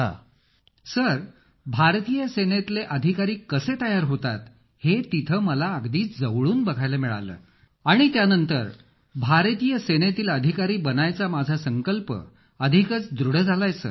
अखिल sir भारतीय सेनेतील अधिकारी कसे तयार होतात हे तिथे मला अगदी जवळून बघायला मिळालं आणि त्यानंतर भारतीय सेनेतील अधिकारी बनण्याचा माझा संकल्प अधिकच दृढ झाला सर